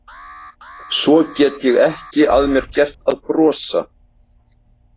Svo get ég ekki að mér gert að brosa.